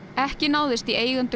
ekki náðist í eigendur